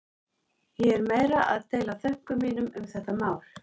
Ég er meira að deila þönkum mínum um þetta mál.